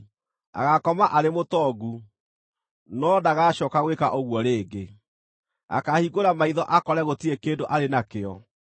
Agaakoma arĩ mũtongu, no ndagacooka gwĩka ũguo rĩngĩ; akaahingũra maitho akore gũtirĩ kĩndũ arĩ nakĩo.